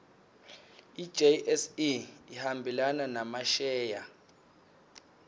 ijse ihambelana nemasheya